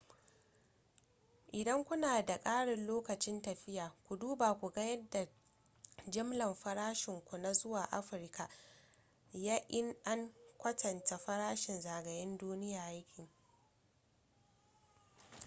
idan kuna da ƙarin lokacin tafiya ku duba ku ga yadda jimlar farashinku na zuwa afirka ya in an kwatanta farashin zagayen-duniya ya ke